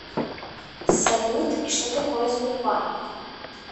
салют и что такое сбербанк